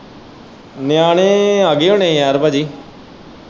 ਨਿਆਣੇ ਆ ਗਏ ਹੁਣੇ ਯਾਰ ਪਾਜੀ।